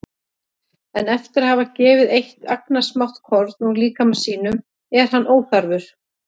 En eftir að hafa gefið eitt agnarsmátt korn úr líkama sínum er hann óþarfur.